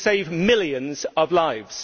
They can save millions of lives.